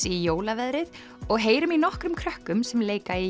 í jólaveðrið og heyrum í nokkrum krökkum sem leika í